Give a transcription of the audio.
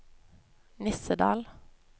Nissedal